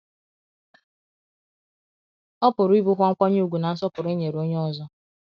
Ọ pụru ibu kwa nkwanye ùgwù na nsọpụru e nyere onye ọzọ.